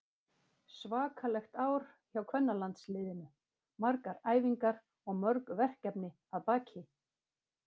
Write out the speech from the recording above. Svakalegt ár hjá kvennalandsliðinu, margar æfingar og mörg verkefni að baki.